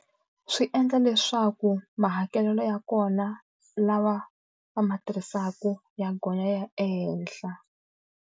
Swi endla leswaku mahakelelo ya kona lawa va ma tirhisaka ya gonya ya ehenhla.